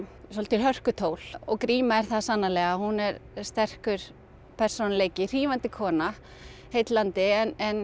svolítil hörkutól og gríma er það sannarlega hún er sterkur persónuleiki hrífandi kona heillandi en